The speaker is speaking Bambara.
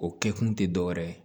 O kɛ kun te dɔ wɛrɛ ye